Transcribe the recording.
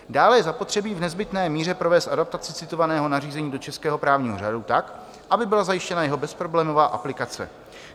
Dále je zapotřebí v nezbytné míře provést adaptaci citovaného nařízení do českého právního řádu tak, aby byla zajištěna jeho bezproblémová aplikace.